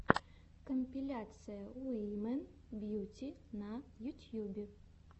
компиляция уимэн бьюти на ютьюбе